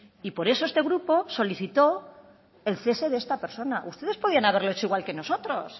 y por eso este grupo solicitó el cese de esta persona ustedes podían haberlo hecho igual que nosotros